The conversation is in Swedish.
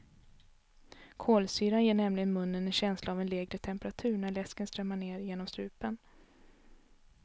Kolsyran ger nämligen munnen en känsla av en lägre temperatur när läsken strömmar ned genom strupen.